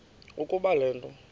ukuba le nto